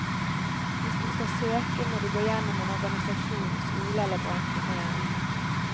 Hvis du skal søke, må du gå gjennom en organisasjon, skole eller bransjeforening.